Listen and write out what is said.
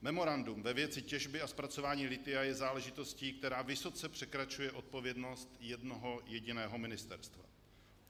Memorandum ve věci těžby a zpracování lithia je záležitostí, která vysoce překračuje odpovědnost jednoho jediného ministerstva.